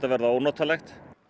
verða ónotalegt